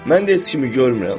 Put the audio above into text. Mən də heç kimi görmürəm.